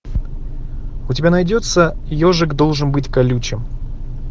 у тебя найдется ежик должен быть колючим